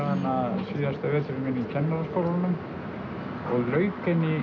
hana síðasta veturinn minn í Kennaraskólanum og lauk henni